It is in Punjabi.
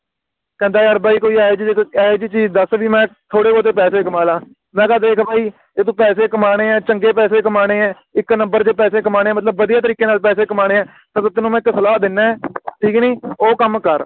ਕਹਿੰਦਾ ਯਾਰ ਭਾਈ ਕੋਈ ਏਹੇ ਜਿਹੀ ਜਦ ਏਹੀ ਜਿਹੀ ਚੀਜ਼ ਦੱਸ ਵੀ ਮੈਂ ਥੋੜੇ ਬਹੁਤੇ ਪੈਸੇ ਕਮਾ ਲਾ ਮੈਂ ਕਿਹਾ ਦੇਖ ਭਾਈ ਜੇ ਤੂੰ ਪੈਸੇ ਕਮਾਣੇ ਆ ਚੰਗੇ ਪੈਸੇ ਕਮਾਣੇ ਆ ਇਕ ਨੰਬਰ ਦੇ ਪੈਸੇ ਕਮਾਣੇ ਆ ਮਤਲਬ ਵਧੀਆ ਤਰੀਕੇ ਨਾਲ ਪੈਸੇ ਕਮਾਣੇ ਆ ਤਾ ਮੈਂ ਤੈਨੂੰ ਇਕ ਸਲਾਹ ਦਿੰਦਾ ਹਾਂ ਠੀਕ ਨੀ ਉਹ ਕੰਮ ਕਰ